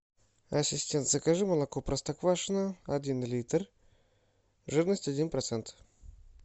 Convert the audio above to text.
ассистент закажи молоко простоквашино один литр жирность один процент